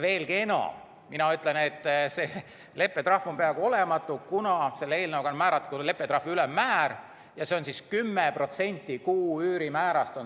Veelgi enam: mina ütlen, et see leppetrahv on peaaegu olematu, kuna selle eelnõuga on määratud leppetrahvi ülemmäär ja see on 10% kuu üürimäärast.